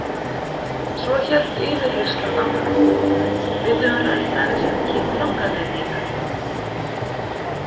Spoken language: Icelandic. Svo hélt yfirheyrslan áfram: Við höfum rætt aðeins um kynlanganir þínar.